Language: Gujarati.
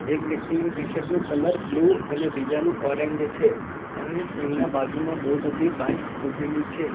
એક વ્યક્તિનું ટી-શર્ટ નું કલર બ્લુ અને બીજાનું ઓરેન્જ છે અને એમના બાજુમાં બહુ બધી બાઇક ઊભેલી છે.